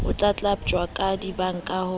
ho tlatlaptjwa ha dibanka ho